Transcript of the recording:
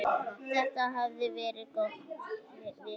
Þetta hafði verið góð vika.